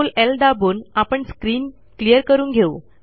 CTRL ल दाबून आपण स्क्रीन क्लिअर करून घेऊ